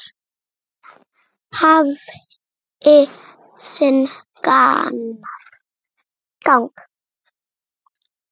Allt hafi sinn gang.